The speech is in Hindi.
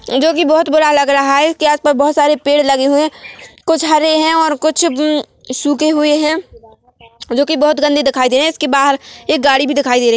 जोकि बहोत बड़ा लग रहा है इस के आसपास बहोत सारे पेड़ लगे हुए है कुछ हरे है और कुछ अम्म सूके हुए है जो की बहुत गदें दिखाई दे रहे है इसके बहार एक गाडी भी देखाई दे रही है।